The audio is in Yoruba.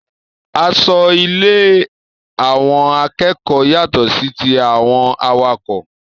Aṣọ ile àwọn akẹ́kọ̀ọ́ yàtọ sí tí àwọn awakọ̀